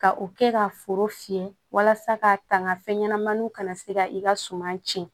Ka o kɛ ka foro fiyɛ walasa ka tanga fɛn ɲɛnamaniw kana se ka i ka suma tiɲɛ